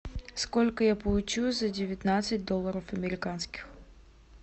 сколько я получу за девятнадцать долларов американских